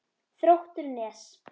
Þróttur Nes.